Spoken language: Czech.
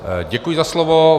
Děkuji za slovo.